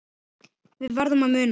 Við verðum að muna það.